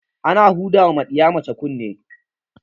Ana huda ma ɗiya mace kunne